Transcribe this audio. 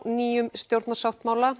nýjum stjórnarsáttmála